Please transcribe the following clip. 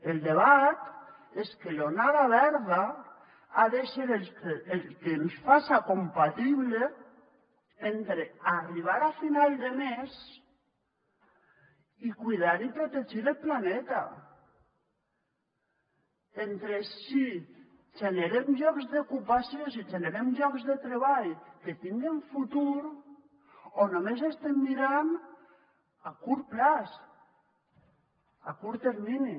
el debat és que l’onada verda ha de ser el que ens faça compatible entre arribar a final de mes i cuidar i protegir el planeta entre si generem llocs d’ocupacions i generem llocs de treball que tinguen futur o només estem mirant a curt termini